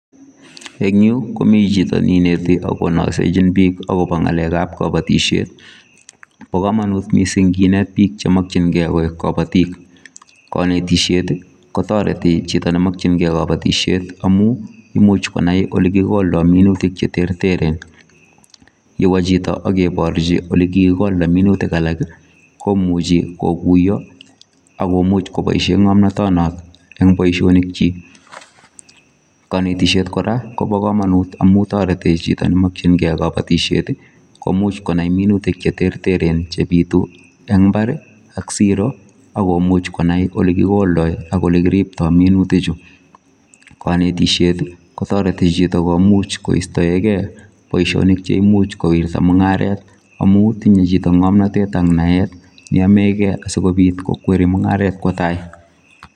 En yuu ko mii chito neinete ak konosechin bik akobo ngalekab kobotishet, bo komonut missing kinet bik chemokingee koik kopotik konetishet kotoreti chito nemokingee koboishet amun imuch konai ole kimindo minutik cheterteren yewo chito ak kiborchi ole kikoldo minutik alaki komuchi kokuyo ak komuch koboishen ngomnoteto non en boishonik chik. Konetishet Koraa Kobo komonut amun toreti chito nemokingee kobotishet tii komuch konai minutik cheterteren chepitu en imbari ak Siro ak komuch konai ole kikoldo ak ole kiriptono minutik chuu, konetisheti kotoreti chito komuch kistoengee boishonik cheimuch kowirta mungaret amun tinye chito ngomnotet ak naet neyomegee asikopit kokwet mungaret kwo tai.